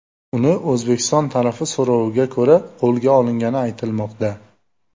Uni O‘zbekiston tarafi so‘roviga ko‘ra qo‘lga olingani aytilmoqda .